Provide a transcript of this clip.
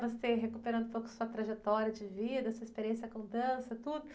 Você recuperando um pouco sua trajetória de vida, sua experiência com dança, tudo.